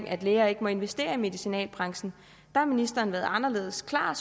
at læger ikke må investere i medicinalbranchen har ministeren været anderledes klar